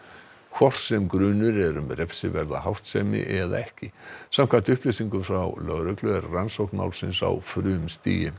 hvort sem grunur er um refsiverða háttsemi eða ekki samkvæmt upplýsingum frá lögreglu er rannsókn málsins á frumstigi